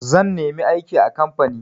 Zan nemi aiki a kamfani.